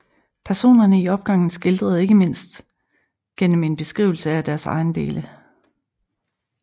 Personerne i opgangen skildres ikke mindst gennem en beskrivelse af deres ejendele